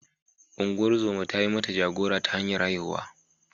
Ungozoma ta yi mata jagora ta hanyar haihuwa.